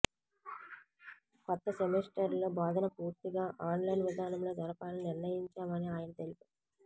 కొత్త సెమిస్టర్లో బోధన పూర్తిగా ఆన్లైన్ విధానంలో జరపాలని నిర్ణయించాం అని ఆయన తెలిపారు